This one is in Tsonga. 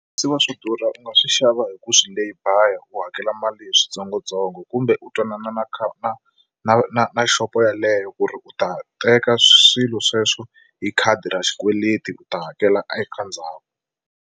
Swi va swi durha u nga swi xava hi ku swi layby u hakela mali hi swintsongontsongo kumbe u twanana na na na na na xopo yeleyo ku ri u ta teka swilo sweswo hi khadi ra xikweleti u ta hakela eka ndzhaku.